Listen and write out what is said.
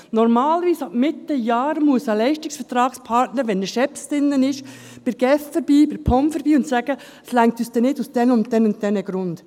Normalerweise muss ein Leistungsvertragspartner ab Mitte Jahr, falls er schief drin ist, bei der GEF oder der POM vorbeigehen und sagen: «Es reicht uns aus diesen und jenen Gründen nicht.